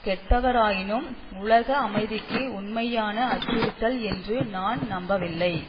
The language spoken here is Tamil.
கெட்டவரெனினும் உலக அமைதிக்கு உண்மையான அச்சுறுத்தல் என்று நான் நம்பவில்லை